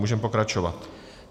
Můžeme pokračovat.